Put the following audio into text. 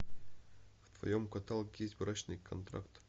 в твоем каталоге есть брачный контракт